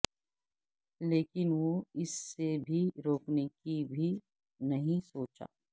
لیکن وہ اس سے بھی روکنے کی بھی نہیں سوچا